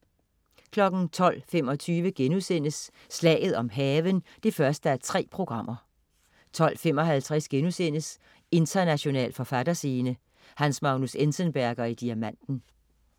12.25 Slaget om havnen 1:3* 12.55 International forfatterscene: Hans Magnus Enzensberger i Diamanten*